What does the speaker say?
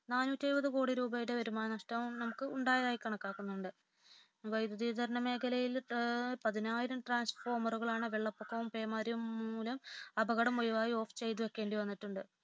നാന്നൂറ്റി എഴുപതുകോടി യുടെ വരുമാന നഷ്ടം ഉണ്ടായതായി കണക്കാക്കുന്നുണ്ട് വൈദ്യുത വിതരണ മേഖലയിൽ പതിനായിരം ട്രാൻസ്ഫോർമറുകളാണ് വെള്ളപ്പൊക്കവും പേമാരിയും മൂലം അപകടം ഒഴിവായി ഓഫ് ചെയ്തു വയ്‌ക്കേണ്ടി വന്നിട്ടുണ്ട്